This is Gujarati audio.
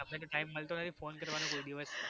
તમને તો time મલતો નથી phone કરવાનો કોઈ દિવસ